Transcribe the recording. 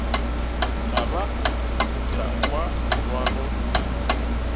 ka be ka kwa morwalo